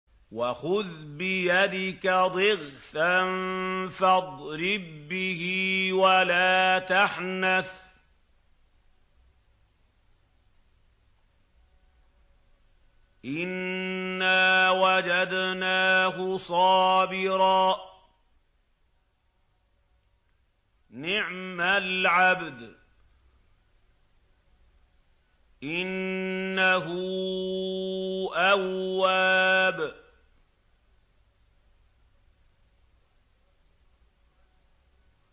وَخُذْ بِيَدِكَ ضِغْثًا فَاضْرِب بِّهِ وَلَا تَحْنَثْ ۗ إِنَّا وَجَدْنَاهُ صَابِرًا ۚ نِّعْمَ الْعَبْدُ ۖ إِنَّهُ أَوَّابٌ